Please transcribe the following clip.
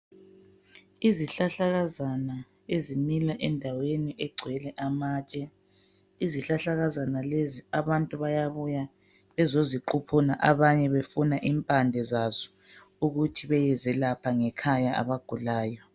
Isihlahlakazana ezimila endaweni egcwele amatshe. Izihlahlakazana lezi abantu bayabuya bezoziquphuna abanye befuna impande zazo ukuthi beyezelapha ngekhaya abagulayo.